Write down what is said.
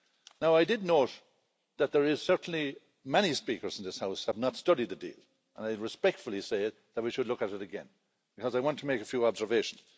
Now, I did note that there are certainly many speakers in this House who have not studied the deal, and I respectfully say that we should look at it again, because I want to make a few observations.